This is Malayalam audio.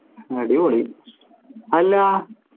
അടിപൊളി അല്ല